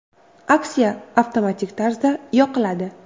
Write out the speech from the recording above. Aksiya avtomatik tarzda yoqiladi.